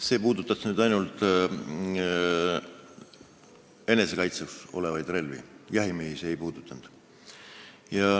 See puudutas ainult enesekaitseks soetatud relvi, jahimehi see ei puudutanud.